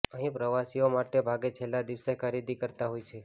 અહીં પ્રવાસીઓ મોટે ભાગે છેલ્લા દિવસે ખરીદી કરતાં હોય છે